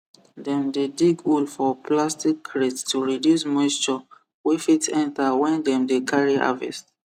dem dey dig hole for plastic crates to reduce moisture wey fit enter when dem dey carry harvest